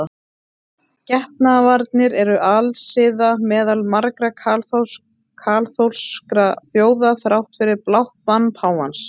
Getnaðarvarnir eru alsiða meðal margra kaþólskra þjóða þrátt fyrir blátt bann páfans.